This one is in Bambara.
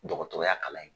Dɔgɔtɔrɔya kalan ye